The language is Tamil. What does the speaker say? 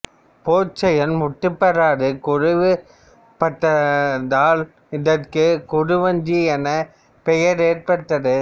போர்ச் செயல் முற்றுப்பெறாது குறைவு பட்டதால் இதற்குக் குறு வஞ்சி எனும் பெயர் ஏற்பட்டது